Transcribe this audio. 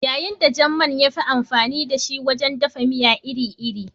Yayin da jan man ya fi amfani da shi wajen dafa miya iri-iri